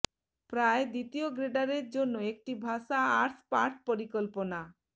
প্রায় দ্বিতীয় গ্রেডারের জন্য একটি ভাষা আর্টস পাঠ পরিকল্পনা